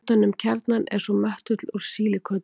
utan um kjarnann er svo möttull úr sílíkötum